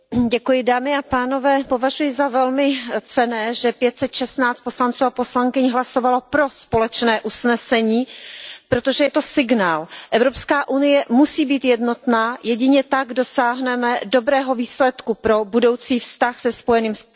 Pane předsedající, považuji za velmi cenné, že 516 poslanců a poslankyň hlasovalo pro společné usnesení, protože je to signál. Evropská unie musí být jednotná, jedině tak dosáhneme dobrého výsledku pro budoucí vztah se Spojeným královstvím.